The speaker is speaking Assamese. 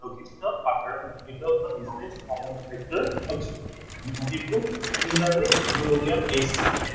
লঘিষ্ঠ সাধাৰণ গুণিতক বা lowest common factor আৰু similarly আমি উলিয়াম HCM